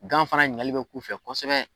Gan fana ɲiningali bɛ k'u fɛ kosɛbɛ.